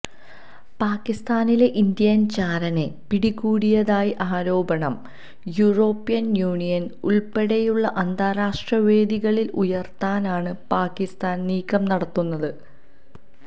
പാകിസ്താനില് Indian ചാരനെ പിടികൂടിയതായ ആരോപണം യൂറോപ്യന് യൂണിയന് ഉള്പ്പെടെയുള്ള അന്താരാഷ്ട്ര വേദികളില് ഉയര്ത്താനാണ് പാകിസ്താന് നീക്കം നടത്തുന്നത്